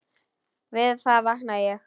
Við það vaknaði ég.